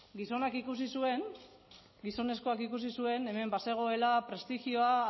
gizonak ikusi zuen gizonezkoak ikusi zuen hemen bazegoela prestigioa